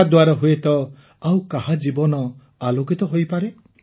ଏହାଦ୍ୱାରା ହୁଏତ ଆଉ କାହା ଜୀବନ ଆଲୋକିତ ହୋଇପାରେ